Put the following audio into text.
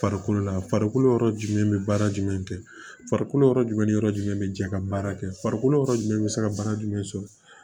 Farikolo la farikolo yɔrɔ jumɛn be baara jumɛn kɛ farikolo yɔrɔ jumɛn ni yɔrɔ jumɛn be jɛ ka baara kɛ farikolo yɔrɔ jumɛn be se ka baara jumɛn sɔrɔ